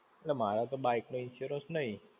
એટલે મારે તો bike નો insurance નહિ.